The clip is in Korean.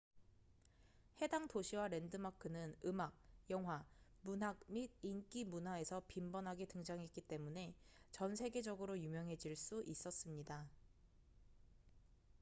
해당 도시와 랜드마크는 음악 영화 문학 및 인기 문화에서 빈번하게 등장했기 때문에 전 세계적으로 유명해질 수 있었습니다